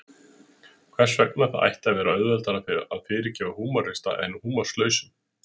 Hvers vegna það ætti að vera auðveldara að fyrirgefa húmorista en húmorslausum?